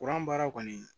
Kuran baara kɔni